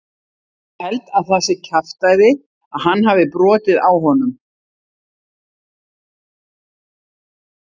Ég held að það sé kjaftæði að hann hafi brotið á honum.